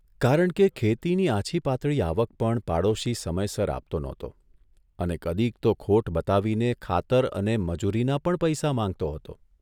કારણ કે, ખેતીની આછી પાતળી આવક પણ પાડોશી સમયસર આપતો નહોતો અને કદીક તો ખોટ બતાવીને ખાતર અને મજૂરીના પણ પૈસા માંગતો હતો.